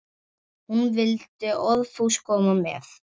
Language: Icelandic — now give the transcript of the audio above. Hún vildi óðfús koma með.